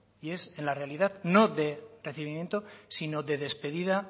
y es en la realidad no de recibimiento sino de despedida